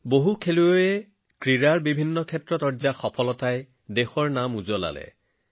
বহু খেলত খেলুৱৈসকলৰ সফলতাই দেশলৈ গৌৰৱ কঢ়িয়াই আনিছে